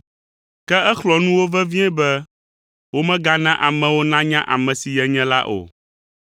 Ke exlɔ̃ nu wo vevie be womegana amewo nanya ame si yenye la o.